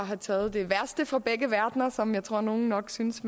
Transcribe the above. har taget det værste fra begge verdener som jeg tror nogle nok synes